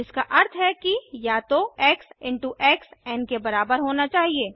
जिसका अर्थ है कि या तो x into x n के बराबर होना चाहिए